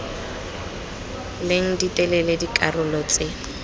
leng di telele dikarolo tse